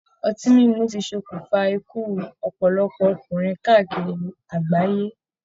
Ọtí mímu ti sọkún fa ikú ọpọlọpọ ọkùnrin káàkiri àgbáyé.